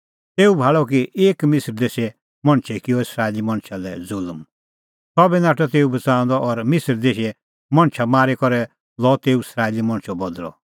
तेऊ भाल़अ कि एक मिसर देशे मणछै किअ इस्राएली मणछा लै ज़ुल्म सह बी नाठअ तेऊ बच़ाऊंदअ और मिसर देशे मणछा मारी करै लअ तेऊ इस्राएली मणछो बदल़अ